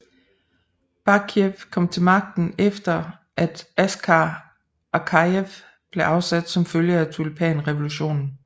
Bakijev kom til magten efter at Askar Akajev blev afsat som følge af tulipanrevolutionen